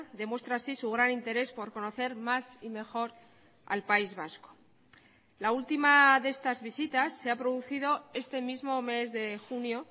demuestra así su gran interés por conocer más y mejor al país vasco la última de estas visitas se ha producido este mismo mes de junio